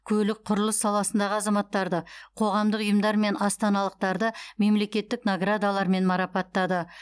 көлік құрылыс саласындағы азаматтарды қоғамдық ұйымдар мен астаналықтарды мемлекеттік наградалармен марапаттады